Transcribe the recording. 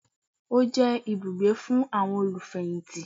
Ó jẹ́ ibùgbé fún àwọn olùfẹ̀yìntì